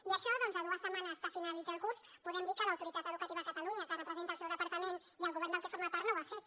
i això doncs a dues setmanes de finalitzar el curs podem dir que l’autoritat educativa a catalunya que representa el seu departament i el govern del que forma part no ho ha fet